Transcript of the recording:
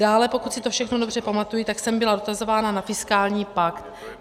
Dále, pokud si to všechno dobře pamatuji, tak jsem byla dotazována na fiskální pakt.